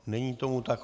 Není tomu tak.